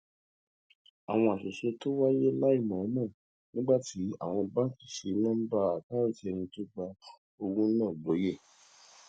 àwọn àṣìṣe tó wáyé láìmòómò nígbà tí àwọn báńkì ṣi nóńbà àkáǹtì ẹni tó ń gba owó náà lóye